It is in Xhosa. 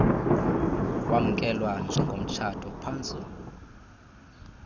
wamkelwa njengomtshato phantsu